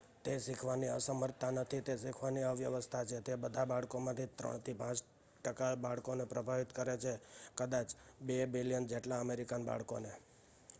"તે શીખવાની અસમર્થતા નથી તે શીખવાની અવ્યવસ્થા છે; તે બધા બાળકોમાંથી 3 થી 5 ટકા બાળકોને પ્રભાવિત કરે છે કદાચ 2 મિલિયન જેટલા અમેરિકન બાળકોને ".